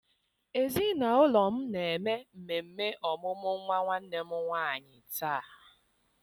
Ezinụlọ m na-eme mmemme ọmụmụ nwa nwanne m nwanyị taa.